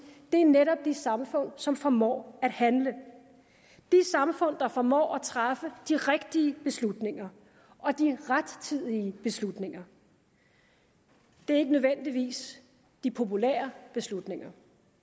netop er de samfund som formår at handle de samfund der formår at træffe de rigtige beslutninger og de rettidige beslutninger det er ikke nødvendigvis de populære beslutninger